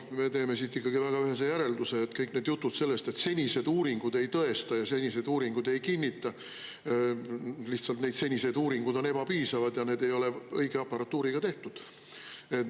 Me teeme siit ikkagi väga ühese järelduse: et kõik need jutud sellest, et senised uuringud ei tõesta ja senised uuringud ei kinnita, lihtsalt need senised uuringud on ebapiisavad ja need ei ole õige aparatuuriga tehtud.